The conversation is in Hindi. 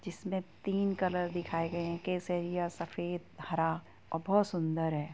जिसमे तीन कलर दिखाई गए हैं| केसरियासफेदहरा और बोहोत सुन्दर हैं।